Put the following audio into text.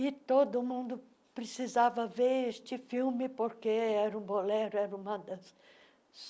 E todo mundo precisava ver este filme porque era um bolero, era uma dança.